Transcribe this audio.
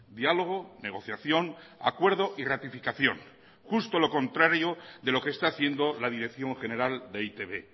diálogo negociación acuerdo y ratificación justo lo contrario de lo que está haciendo la dirección general de e i te be